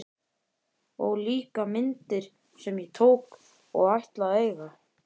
Og líka myndir sem ég tók og ætla að eiga!